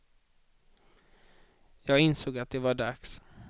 Jag insåg att det var dags.